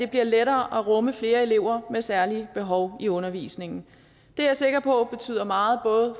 bliver lettere at rumme flere elever med særlige behov i undervisningen det er jeg sikker på betyder meget